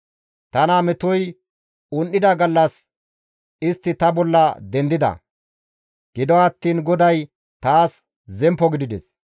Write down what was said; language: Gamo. Tana metoy un7ida gallas istti ta bolla dendida; gido attiin GODAY taas zemppo gidides.